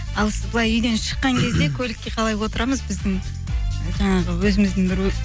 ал былай үйден шыққан кезде көлікке қалай отырамыз біздің жаңағы өзіміздің бір